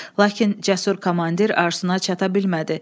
Lakin cəsur komandir arzusuna çata bilmədi.